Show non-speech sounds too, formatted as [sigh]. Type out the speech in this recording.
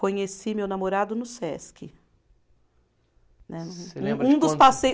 Conheci meu namorado no Sesc, né. [unintelligible] Um, um dos passeios